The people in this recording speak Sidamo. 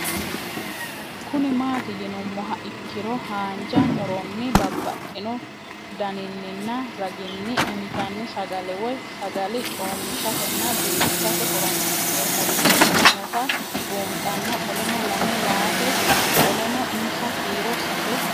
Kuni mati yinumoha ikiro hanja muroni babaxino daninina ragini intani sagale woyi sagali comishatenna bifisate horonsine'morich ikinota bunxana qoleno lame yaate qoleno insa kiiro sase